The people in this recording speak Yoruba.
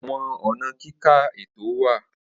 Awọn ọna kika eto wa.